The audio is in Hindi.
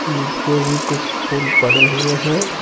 नीचे भी कुछ फूल पड़े हुए हैं।